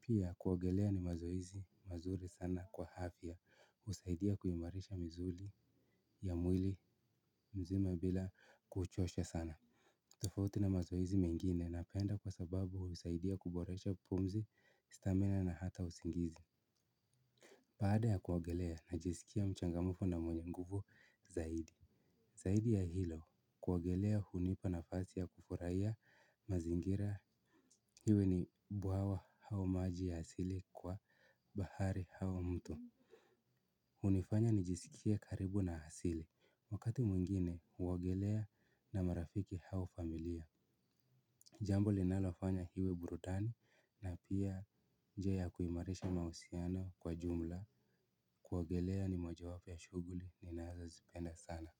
pia kuogelea ni mazoezi mazuri sana kwa afya husaidia kuimarisha mzuli ya mwili mzima bila kuchosha sana tofauti na mazoezi mengine napenda kwa sababu husaidia kuboresha pumzi, stamina na hata usingizi baada ya kuogelea najisikia mchangamfu na mwenye nguvu zaidi zaidi ya hilo kuogelea hunipa nafasi ya kufurahia mazingira iwe ni bwawa au maji ya asili kwa bahari au mto hunifanya nijisikie karibu na asili, wakati mwingine huogelea na marafiki au familia jambo linalofanya iwe burudani na pia njia ya kuimarisha mahusiano kwa jumla kuogelea ni mojawapo ya shughuli ninayozipenda sana.